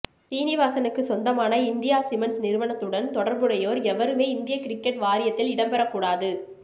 சீனிவாசனுக்குச் சொந்தமான India Cements நிறுவனத்துடன் தொடர்புடையோர் எவருமே இந்திய கிரிக்கெட் வாரியத்தில் இடம்பெறக் கூடாது